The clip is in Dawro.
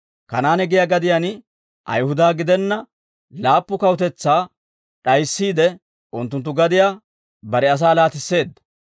Kanaane giyaa gadiyaan Ayihuda gidenna laappu kawutetsaa d'ayissiide, unttunttu gadiyaa bare asaa laatisseedda.